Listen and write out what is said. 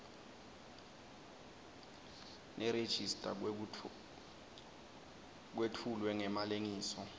nerejista kwetfulwe ngemalengiso